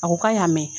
A ko k'a y'a mɛn